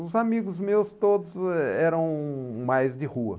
Os amigos meus todos eh eram mais de rua.